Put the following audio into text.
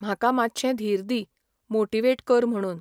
म्हाका मातशें धीर दी, मोटिवेट कर म्हुणून.